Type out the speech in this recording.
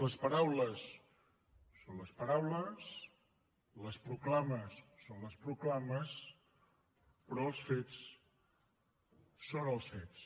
les paraules són les paraules les proclames són les proclames però els fets són els fets